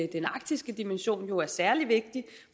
den arktiske dimension jo er særlig vigtig